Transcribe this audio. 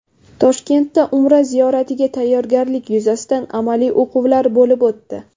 Toshkentda Umra ziyoratiga tayyorgarlik yuzasidan amaliy o‘quvlar bo‘lib o‘tdi.